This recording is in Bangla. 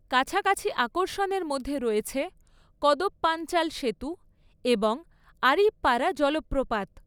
কাছাকাছি আকর্ষণের মধ্যে রয়েছে কদপ্পাঞ্চাল সেতু এবং আরিপ্পারা জলপ্রপাত।